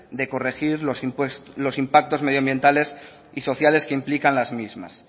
de corregir los impactos medioambientales y sociales que implican las mismas